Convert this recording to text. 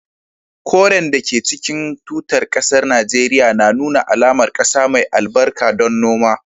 Koren da ke cikin tutar kasar Najeriya na nuna alamar kasa mai albarka don noma